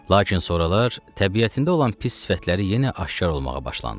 Lakin sonralar təbiətində olan pis sifətləri yenə aşkar olmağa başlandı.